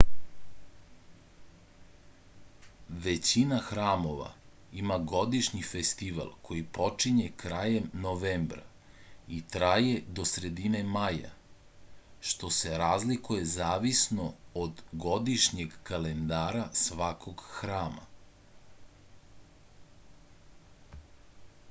većina hramova ima godišnji festival koji počinje krajem novembra i traje do sredine maja što se razlikuje zavisno od godišnjeg kalendara svakog hrama